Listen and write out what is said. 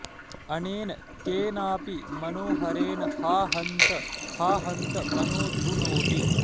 अनेन केनापि मनोहरेण हा हन्त हा हन्त मनो धुनोति